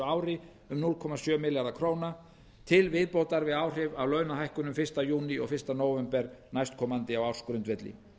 ári um núll komma sjö milljarðar króna til viðbótar við áhrif af launahækkunum fyrsta júní og fyrsta nóvember næstkomandi á ársgrundvelli